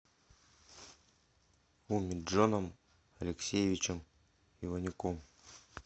умеджоном алексеевичем иванюком